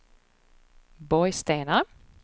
Borgstena